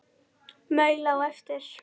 Maul á eftir.